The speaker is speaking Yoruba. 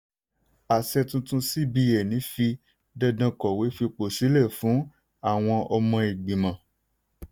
àṣẹ tuntun cbn fi dandan kọ̀wé fipò sílẹ̀ fún àwọn ọmọ igbimọ̀.